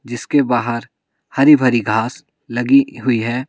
जिसके बाहर हरी भरी घास लगी हुई है।